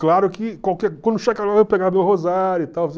Claro que quando chegar lá eu vou pegar meu rosário e tal.